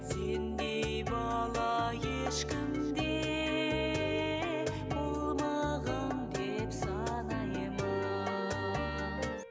сендей бала ешкімде болмаған деп санаймын